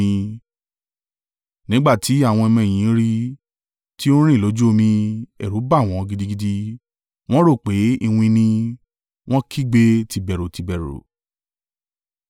Nígbà tí àwọn ọmọ-ẹ̀yìn rí i tí ó ń rìn lójú omi, ẹ̀rù ba wọn gidigidi, wọ́n rò pé “iwin ni,” wọ́n kígbe tìbẹ̀rù tìbẹ̀rù.